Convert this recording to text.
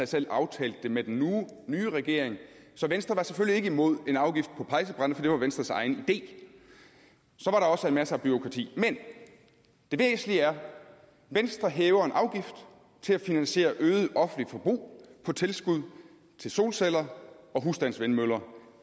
selv aftalt det med den nye regering så venstre var selvfølgelig ikke imod en afgift på pejsebrænde for det var venstres egen idé så var der også masser af bureaukrati men det væsentlige er at venstre hæver en afgift til at finansiere et øget offentligt forbrug på tilskud til solceller og husstandsvindmøller